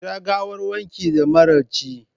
Kira gawarwakin da maraice!